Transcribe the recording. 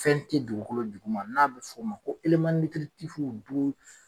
Fɛn tɛ dugukolo duguma n'a bɛ f'o ma ko .